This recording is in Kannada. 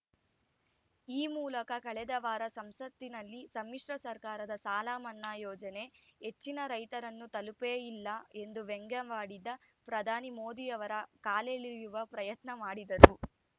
ಈ ಮೂಲಕ ಕಳೆದ ವಾರ ಸಂಸತ್ತಿನಲ್ಲಿ ಸಮ್ಮಿಶ್ರ ಸರ್ಕಾರದ ಸಾಲ ಮನ್ನಾ ಯೋಜನೆ ಹೆಚ್ಚಿನ ರೈತರನ್ನು ತಲುಪೇ ಇಲ್ಲ ಎಂದು ವ್ಯಂಗ್ಯವಾಡಿದ್ದ ಪ್ರಧಾನಿ ಮೋದಿ ಅವರ ಕಾಲೆಳೆಯುವ ಪ್ರಯತ್ನ ಮಾಡಿದರು